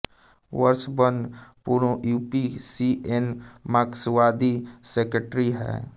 बर्ष मन पूण यूं पी सी एन मार्क्सवादी सेकेटरी हैं